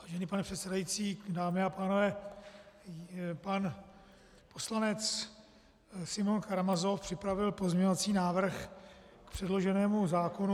Vážený pane předsedající, dámy a pánové, pan poslanec Simeon Karamazov připravil pozměňovací návrh k předloženému zákonu.